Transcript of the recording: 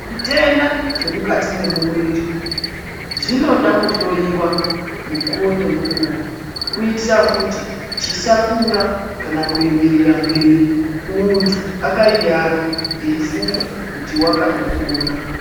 Zvitenda zve mukati memuviri zvinoda kuhloyiwa mukuwo nemukuwo kuitira kuti zvisakura kana kuenderera mberi muntu akayiyarwa eyifunga kuti akatopora.